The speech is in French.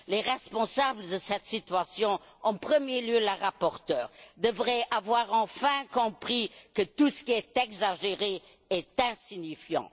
Les responsables de cette situation, et en premier lieu la rapporteure, devraient avoir enfin compris que tout ce qui est exagéré est insignifiant.